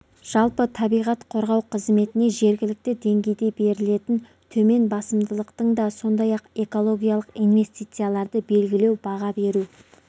жалпы табиғат қорғау қызметіне жергілікті деңгейде берілетін төмен басымдықтың да сондай-ақ экологиялық инвестицияларды белгілеу баға беру